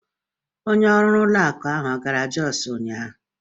Onye ọrụ ụlọ akụ ọ gara Jos ụnyahụ?